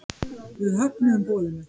Við höfnuðum boðinu.